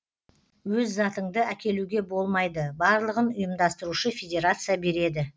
өз затыңды әкелуге болмайды барлығын ұйымдастырушы федерация береді